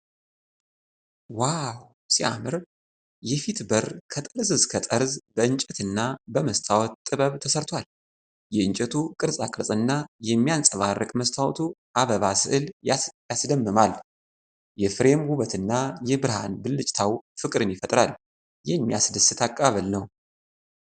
ዋው ሲያምር! የፊት በር ከጠርዝ እስከ ጠርዝ በእንጨት እና በመስታወት ጥበብ ተሰርቷል። የእንጨቱ ቅርጻቅርጽና የሚያብረቀርቅ መስታወቱ አበባ ስዕል ያስደምማል። የፍሬም ውበት እና የብርሃን ብልጭታው ፍቅርን ይፈጥራል። የሚያስደስት አቀባበል ነው!